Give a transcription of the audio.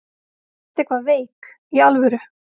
Ertu eitthvað veik. í alvöru?